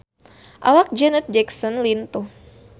Awak Janet Jackson lintuh